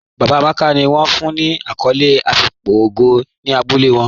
Baba Amàkà ni wọn fún ní akòlé àfíkpò ògó ní àbúlẹ̀ wọn.